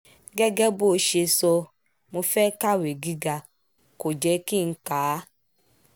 gẹ́gẹ́ bó ṣe sọ mọ́ fẹ́ẹ́ kàwé gíga kò jẹ́ kí n kà á